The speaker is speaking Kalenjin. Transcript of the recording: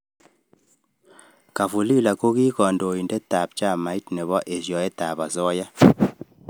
Kafulila ko ki kandoindet ab chamait nebo eshoet ab asoya.